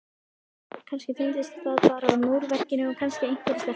kannski tengdist það bara múrverkinu og kannski einhverri stelpu.